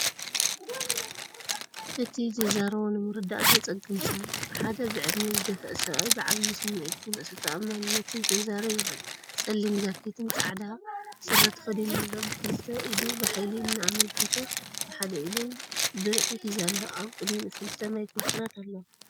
እቲ ዝዛረቦ ንምርዳእ ዘጸግም ሰብ! ሓደ ብዕድመ ዝደፍአ ሰብኣይ ብዓቢ ስምዒትን ርእሰ ተኣማንነትን ክዛረብ ይረአ። ጸሊም ጃኬትን ጻዕዳ ስረ ተኸዲኑ ኣሎ። ብኽልተ ኢዱ ብሓይሊ እናኣመልከተ ብሓደ ኢዱ ብርዒ ሒዙ ኣሎ። ኣብ ቅድሚኡ ክልተ ማይክሮፎናት ኣለዋ።